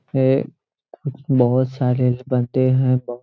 ये बहुत सारे बन्दे है।